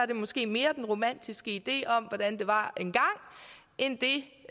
det måske mere den romantiske idé om hvordan det var engang end det